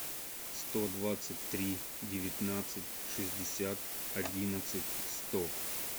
сто двадцать три девятнадцать шестьдесят одиннадцать сто